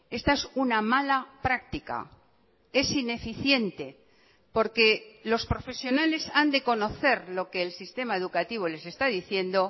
esta es una mala práctica es ineficiente porque los profesionales han de conocer lo que el sistema educativo les está diciendo